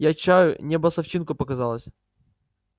я чаю небо с овчинку показалось